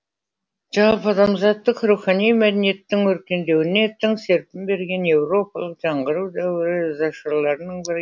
жалпыадамзаттық рухани мәдениеттің өркендеуіне тың серпін берген еуропалық жаңғыру дәуірі ізашарларының бірі